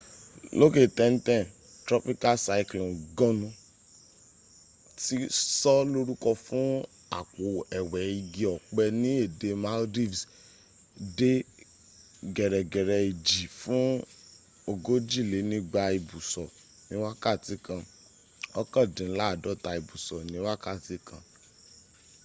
lókè tẹ́ntẹ́n, tropical cyclone gonu ti sọ lórúkọ fún àpò ẹwẹ́ igi ọ̀pẹ ni èdè maldives dẹ gẹ̀rẹ́gẹ̀rẹ́ ìjì fún ogójìlénígba ìbùsọ̀ ní wákàtí kan òkàndínládọ́ta ìbùsọ̀ ni wákàtí kan